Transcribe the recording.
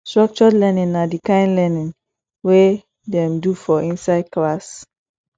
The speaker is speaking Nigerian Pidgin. structured learning na di kind learning wey dem do for inside class